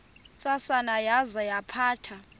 ntsasana yaza yaphatha